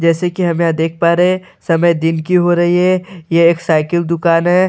जैसे कि हम यहां देख पा रहे समय दिन की हो रही हैं ये एक साइकिल दुकान है।